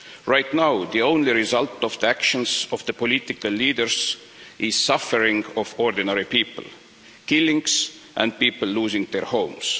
Right now, the only result of the actions of the political leaders is the suffering of ordinary people, killings and people losing their homes.